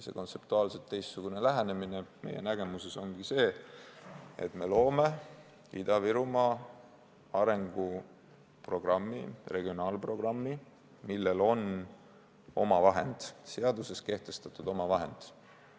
See kontseptuaalselt teistsugune lähenemine meie nägemuses ongi see, et me loome Ida-Virumaa arenguprogrammi, regionaalprogrammi, millel on seaduses kehtestatud omavahend.